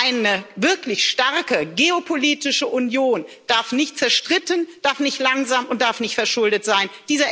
Eine wirklich starke geopolitische Union darf nicht zerstritten, darf nicht langsam und darf nicht verschuldet sein.